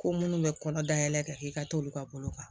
Ko minnu bɛ kɔnɔ dayɛlɛ kɛ k'i ka t'olu ka bolo kan